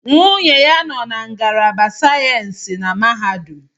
Nwunye ya nọ na ngalaba sayensi na mahadum